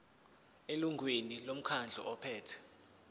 elungwini lomkhandlu ophethe